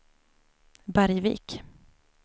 Bergvik